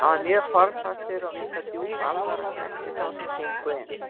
Hann var mjög formfastur og vildi að djúp alvara snerti þá sem gengu inn.